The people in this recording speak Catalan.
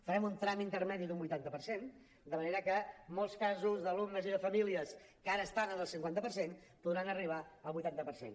farem un tram intermedi d’un vuitanta per cent de manera que molts casos d’alumnes i de famílies que ara estan en el cinquanta per cent podran arribar al vuitanta per cent